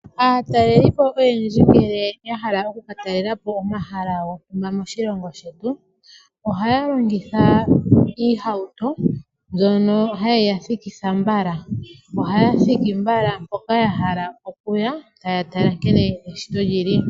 Aatalelipo oyendji ngele ya hala okuka talela po omahala gamwe moshilongo shetu ohaya longitha iihauto mbyono haye ya thikitha mbala ohaya thiki mbala hoka ya hala okuya taya tala nkene eshito lyili.